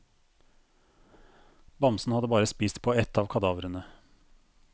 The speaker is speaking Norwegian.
Bamsen hadde bare spist på ett av kadavrene.